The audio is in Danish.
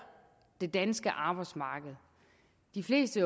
det danske arbejdsmarked de fleste